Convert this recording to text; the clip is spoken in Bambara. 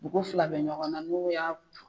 U ko fila be ɲɔgɔn na n'u y'a